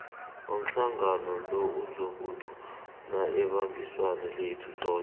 umhlangano lo uzokuthula ibambiswano lethu soke